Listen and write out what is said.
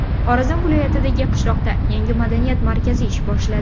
Xorazm viloyatidagi qishloqda yangi madaniyat markazi ish boshladi.